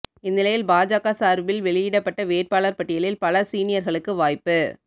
இந்நிலையில் பாஜக சார்பில் வெளியிடப்பட்ட வேட்பாளர்கள் பட்டியலில் பல சீனியர்களுக்கு வாய்ப்பு